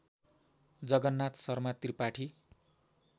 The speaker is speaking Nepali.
जगन्नाथ शर्मा त्रिपाठी